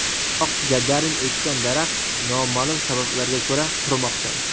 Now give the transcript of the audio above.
Biroq Gagarin ekkan daraxt noma’lum sabablarga ko‘ra qurimoqda.